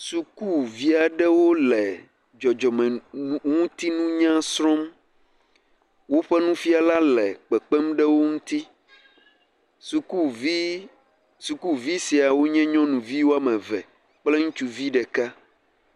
Sukuvi aɖewo le dzɔdzɔmenunya srɔ̃m. Woƒe nufiala le kpekpem ɖe wo ŋuti. Sukuvii, sukuvi siawo nye nyɔnuvi woame eve kple ŋutsuvi ɖeka.